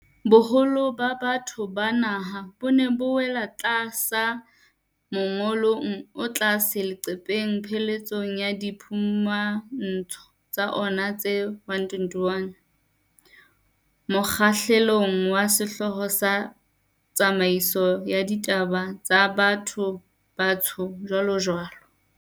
Boholo ba batho ba naha bo ne bo wela tlasa mongolong o tlase leqepheng pheletsong ya diphumantsho tsa ona tse 121, mokgahlelong wa sehlooho sa 'Tsamaiso ya Ditaba tsa Batho-Batsho, jwalojwalo.'